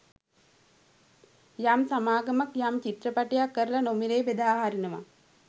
යම් සමාගමක් යම් චිත්‍රපටයක් කරලා නොමිලේ බෙදා හරිනවා